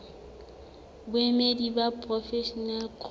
baemedi ba porofensi ho ncop